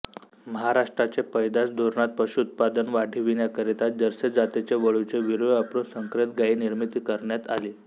महाराष्ट्राचे पैदास धोरणात पशुउत्पादन वाढीविण्याकरिता जर्सी जातीचे वळूचे वीर्य वापरून संकरीत गायी निर्मिती करण्यात आली